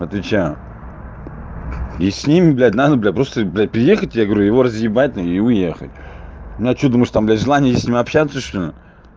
отличаю и с ними блядь надо просто блядь приехать я говорю его разъебать и уехать ну а что ты думаешь там блядь желание есть с ним общаться что ли